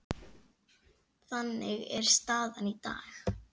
Þannig er staðan í dag.